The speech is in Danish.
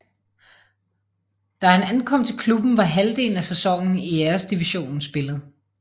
Da han ankom til klubben var halvdelen af sæsonen i Æresdivisionen spillet